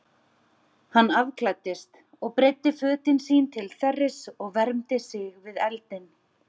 Hann afklæddist og breiddi fötin sín til þerris og vermdi sig við eldinn.